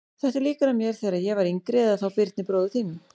Þetta er líkara mér þegar ég var yngri eða þá Birni bróður þínum.